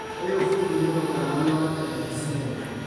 ũyũ bundi nĩ mũtaramu wa terebiceni